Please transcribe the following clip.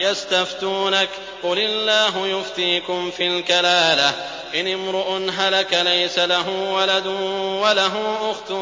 يَسْتَفْتُونَكَ قُلِ اللَّهُ يُفْتِيكُمْ فِي الْكَلَالَةِ ۚ إِنِ امْرُؤٌ هَلَكَ لَيْسَ لَهُ وَلَدٌ وَلَهُ أُخْتٌ